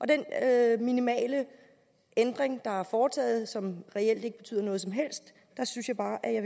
det er en minimal ændring der er foretaget som reelt ikke betyder noget som helst synes jeg bare jeg